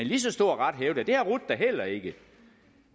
lige så stor ret hævde at det har rut da heller ikke det